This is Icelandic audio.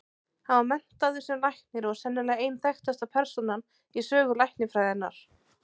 Hann var menntaður sem læknir og er sennilega ein þekktasta persónan í sögu læknisfræðinnar.